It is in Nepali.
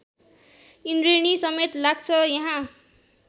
इन्द्रेणीसमेत लाग्छ यहाँ